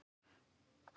Það er nóg að gerast.